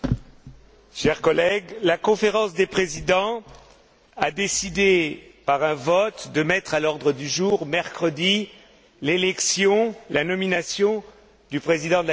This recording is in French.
Chers collègues, la Conférence des présidents a décidé par un vote de mettre à l'ordre du jour, mercredi, l'élection, la nomination du président de la Commission.